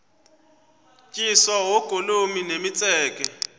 tyiswa oogolomi nemitseke